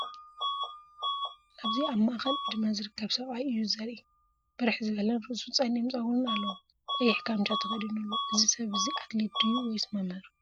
ኣብዚ ኣብ ማእከላይ ዕድመ ዝርከብ ሰብኣይ እዩ ዘርኢ። ብርሕ ዝበለን ርእሱ ጸሊም ጸጉርን ኣለዎ። ቀይሕ ካምቻ ተኸዲኑ ኣሎ። እዚ ሰብ እዚ ኣትሌት ድዩ ወይስ መምህር?